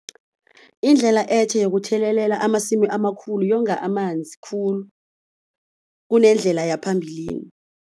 Indlela etjha yokuthelelela amasimu amakhulu yonga amanzi khulu kunendlela yaphambilini.